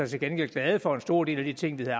til gengæld glade for en stor del af de ting der